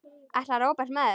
Ætlar Róbert með þér?